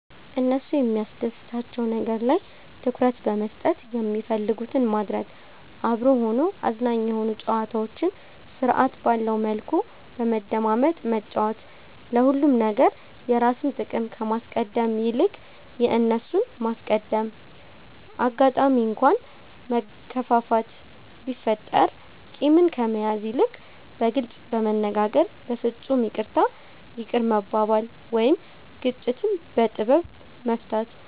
እነሱ የሚያስደስታቸዉ ነገር ላይ ትኩረት በመስጠት የሚፈልጉትን ማድረግ፤ አብሮ ሆኖ አዝናኝ የሆኑ ጨዋታዎችን ስርዐት ባለዉ መልኩ በመደማመጥ መጫወት፤ ለሁሉም ነገር የራስን ጥቅም ከማስቀደም ይልቅ የእነርሱን ማስቀደም፣ አጋጣሚ እንኳ መከፋፋት ቢፈጠር ቂምን ከመያዝ ይልቅ በግልጽ በመነጋገር በፍፁም ይቅርታ ይቅር መባባል ወይም ግጭትን በጥበብ መፍታት፣